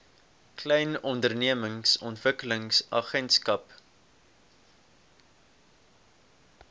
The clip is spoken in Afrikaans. klein ondernemings ontwikkelingsagentskap